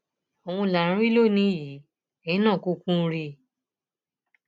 òun là ń rí lónìín yìí eyín náà kúkú ń rí i